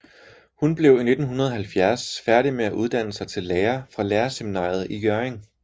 Hun blev i 1970 færdig med at uddanne sig til lærer fra lærerseminaret i Hjørring